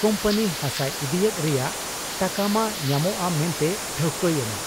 ᱠᱩᱢᱯᱟᱹᱱᱤ ᱦᱟᱥᱟᱭ ᱤᱫᱤᱭᱮᱫ ᱨᱮᱭᱟᱜ ᱴᱟᱠᱟᱢᱟ ᱧᱟᱢᱚᱜ ᱟ ᱢᱮᱱᱛᱮ ᱴᱷᱟᱹᱣᱠᱟᱹ ᱭᱮᱱᱟ ᱾